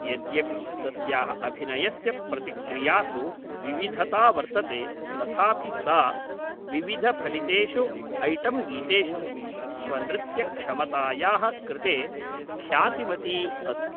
यद्यपि तस्याः अभिनयस्य प्रतिक्रियासु विविधता वर्तते तथापि सा विविधफलितेषु ऐटम्गीतेषु स्वनृत्यक्षमतायाः कृते ख्यातिमती अस्ति।